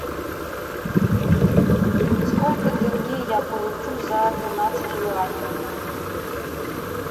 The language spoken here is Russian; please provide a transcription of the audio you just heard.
сколько тенге я получу за тринадцать юаней